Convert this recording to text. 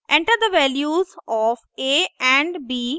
enter the values of a and b प्रदर्शित होता है